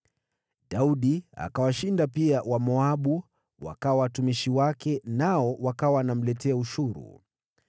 Pia Daudi akawashinda Wamoabu, wakawa watumishi wake, nao wakawa wanamletea ushuru.